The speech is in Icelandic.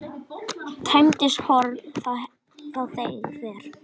Tæmist horn þá teygað er.